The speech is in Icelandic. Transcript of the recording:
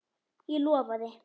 Ég lofaði.